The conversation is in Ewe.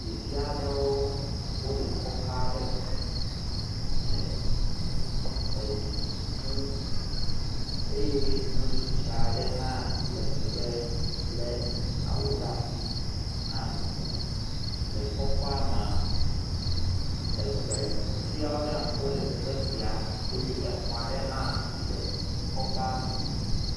ɖeviaɖewo wóle kɔƒaɖe me le edu ʋu eye nyɔnu tsitsia ɖe hã le megbe le awu ɖa'si hã gbɔnɔ le kɔƒa'mea egbe tioɖa wóle teƒe sia eye exɔa ɖewo hã wóle kɔƒea me